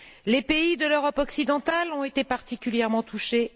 Les pays de l'Europe occidentale ont été particulièrement touchés.